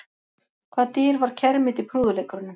Hvaða dýr var kermit í prúðuleikurunum?